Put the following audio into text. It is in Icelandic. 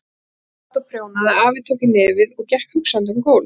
Amma sat og prjónaði, afi tók í nefið og gekk hugsandi um gólf.